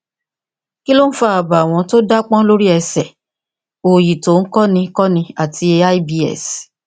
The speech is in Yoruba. kí ló ń fa àbàwọn tó dápọn lórí ẹsẹ òòyì tó ń kọni kọni àti ibs